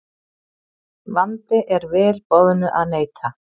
Vandi er vel boðnu að neita.